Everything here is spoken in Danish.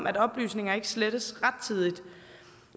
at oplysninger ikke slettes rettidigt